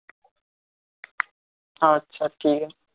আছে ঠিক